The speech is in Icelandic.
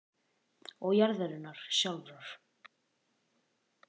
og jarðarinnar sjálfrar.